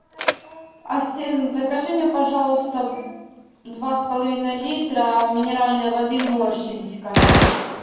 ассистент закажи мне пожалуйста два с половиной литра минеральной воды морщинская